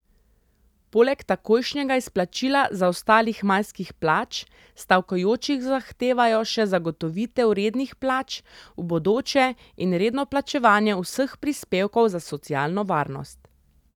Poleg takojšnjega izplačila zaostalih majskih plač stavkajoči zahtevajo še zagotovitev rednih plač v bodoče in redno plačevanje vseh prispevkov za socialno varnost.